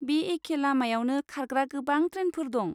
बे एखे लामायावनो खारग्रा गोबां ट्रेनफोर दं।